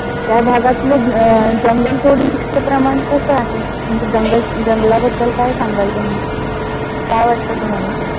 त्या भागातल जंगल तोडीच प्रमाण कस आहे? म्हणजे जंगल जंगला बद्दल काय सांगाल तुम्ही? काय वाटत तुम्हाला?